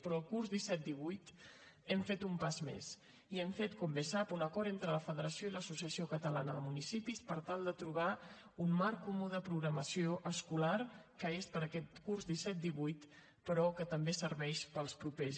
però el curs disset divuit hem fet un pas més i hem fet com bé sap un acord entre la federació de municipis i l’associació catalana de municipis per tal de trobar un marc comú de programació escolar que és per a aquest curs disset divuit però que també serveix per als propers